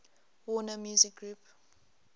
warner music group